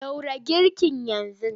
Ɗora girkin yanzu!